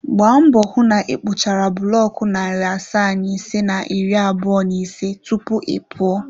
Gbaa mbọ hụ na ịkpụchara buloku narị asaa na ise na iri abụọ na ise tupu ị pụọ.